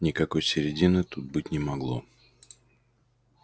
никакой середины тут быть не могло